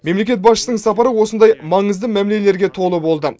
мемлекет басшысының сапары осындай маңызды мәмілелерге толы болды